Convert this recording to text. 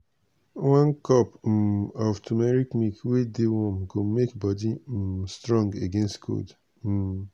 one cup um of turmeric milk wey dey warm go make body um strong against cold. um